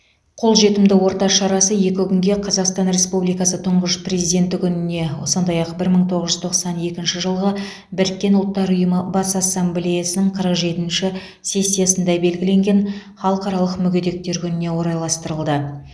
қолжетімді орта шарасы екі күнге қазақстан республикасы тұңғыш президенті күніне сондай ақ бір мың тоғыз жүз тоқсан екінші жылғы біріккен ұлттар ұйымы бас ассамблеясының қырық жетінші сессиясында белгіленген халықаралық мүгедектер күніне орайластырылды